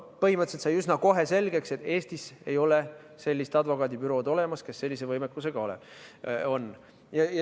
Põhimõtteliselt sai üsna kohe selgeks, et Eestis ei ole advokaadibürood, kes sellise võimekusega on.